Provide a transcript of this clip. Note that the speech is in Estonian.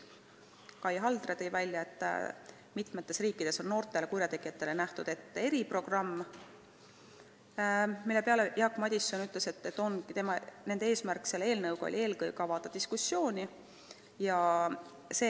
Kai Haldre märkis, et mitmes riigis on noortele kurjategijatele ette nähtud eriprogramm, mille peale Jaak Madison ütles, et nende eesmärk oligi eelkõige avada diskussioon.